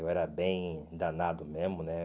Eu era bem danado mesmo, né?